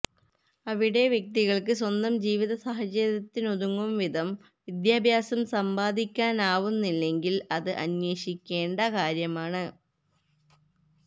അവിടെ വ്യക്തികൾക്ക് സ്വന്തം ജീവിതസാഹചര്യത്തിനുതകും വിധം വിദ്യാഭ്യാസം സമ്പാദിക്കാനാവുന്നില്ലെങ്കിൽ അത് അന്വേഷിക്കേണ്ട കാര്യമാണ്